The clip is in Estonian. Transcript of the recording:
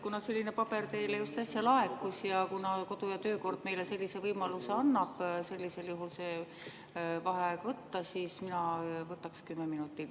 Kuna selline paber teile just äsja laekus ja kuna kodu‑ ja töökord annab meile võimaluse sellisel juhul vaheaeg võtta, siis mina võtaks 10 minutit …